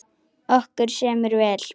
Okkur semur vel